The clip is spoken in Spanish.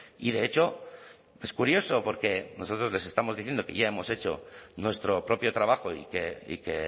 y de hecho es curioso porque nosotros les estamos diciendo que ya hemos hecho nuestro propio trabajo y que